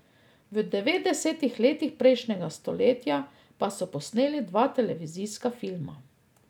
V devetdesetih letih prejšnjega stoletja pa so posneli dva televizijska filma.